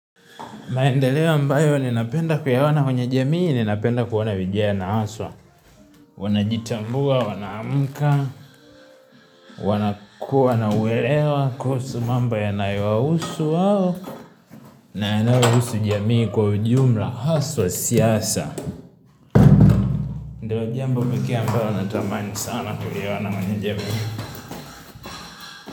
Maendeleo ambayo ninapenda kuyaona kwenye jamii, ninapenda kuona vijana haswa wanajitambua, wanaamka, wanakuwa na uelewa kuhusu mambo yanayowahusu wao na yanayohusu jamii kwa ujumla haswa siasa. Ndio jambo pek yake huwa natamani sana kuliona kwenye jamii.